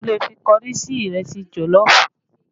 A tún lè fi kọrí ṣe ìrẹsì jọ̀lọ́ọ̀fù